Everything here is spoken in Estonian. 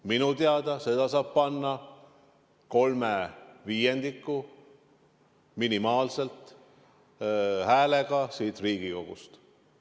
Minu teada seda saab panna hääletusele minimaalselt kolme viiendiku Riigikogu häältega.